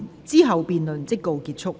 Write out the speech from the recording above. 之後辯論即告結束。